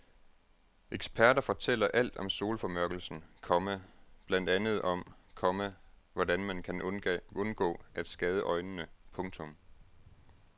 Eksperter fortæller alt om solformørkelsen, komma blandt andet om, komma hvordan man kan undgå at skade øjnene. punktum